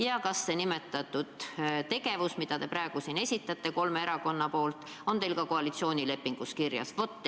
Ja kas see plaan, mida te praegu siin kolme erakonna nimel esitate, on teil ka koalitsioonilepingus kirjas?